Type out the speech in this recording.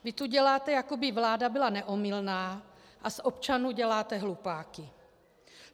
Vy tu děláte, jako by vláda byla neomylná, a z občanů děláte hlupáky.